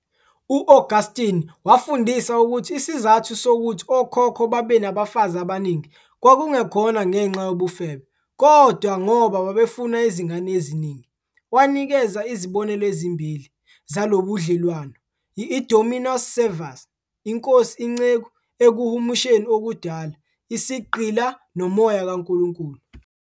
U-Augustine wafundisa ukuthi isizathu sokuthi okhokho babenabafazi abaningi kwakungekhona ngenxa yobufebe, kodwa ngoba babefuna izingane eziningi. Wanikeza izibonelo ezimbili "zalobudlelwano - i-dominus-servus" - inkosi-inceku, ekuhumusheni okudala - "isigqila", nomoya "kaNkulunkulu".